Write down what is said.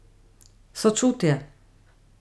Sočutje.